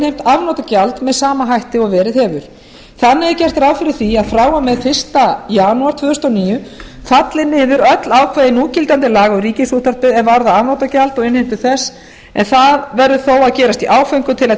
afnotagjald með sama hætti og verið hefur þar með er gert ráð fyrir því að frá og með fyrsta janúar tvö þúsund og níu falli niður öll ákvæði núgildandi laga um ríkisútvarpið er varða afnotagjald og innheimtu þess en það verður þó að gerast í áföngum til að